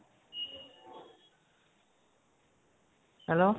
hello